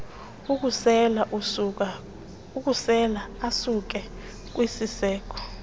okusela asuka kwisiseko